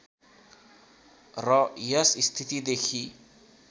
र यस स्थितिदेखि